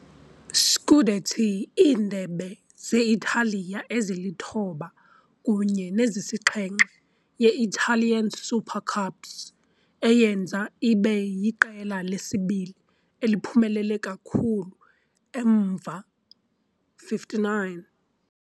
Scudetti, iiNdebe ze-Italiya ezili-9 kunye ne-7 ye-Italian Super Cups - eyenza ibe yiqela lesibini eliphumelele kakhulu emva, 59.